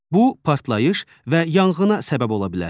Bu partlayış və yanğına səbəb ola bilər.